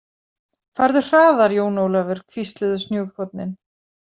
Farðu hraðar Jón Ólafur, hvísluðu snjókornin.